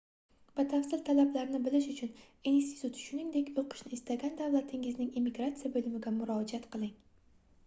batafsil talablarni bilish uchun institut shuningdek oʻqishni istagan davlatingizning immigratsiya boʻlimiga murojaat qiling